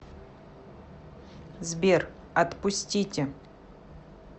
сбер отпустите